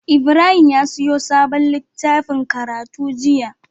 Ibrahim ya siyo sabon litaffin karatu jiya